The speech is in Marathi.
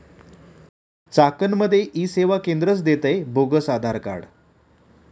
चाकणमध्ये ई सेवा केंद्रच देतंय बोगस आधारकार्ड